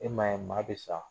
E ma ye maa bɛ sa